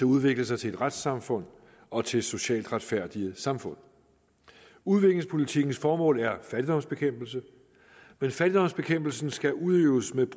udvikle sig til et retssamfund og til et socialt retfærdigt samfund udviklingspolitikkens formål er fattigdomsbekæmpelse men fattigdomsbekæmpelsen skal udøves ved